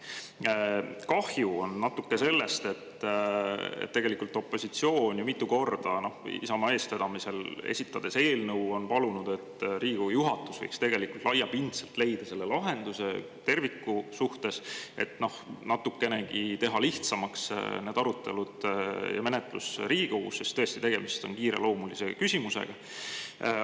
Natuke kahju on sellest, et tegelikult opositsioon on mitu korda Isamaa eestvedamisel eelnõu esitades palunud, et Riigikogu juhatus võiks laiapindselt leida selle lahenduse terviku suhtes, et natukenegi teha lihtsamaks need arutelud ja menetlus Riigikogus, sest, tõesti, tegemist on kiireloomulise küsimusega.